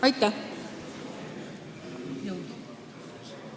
Aitäh!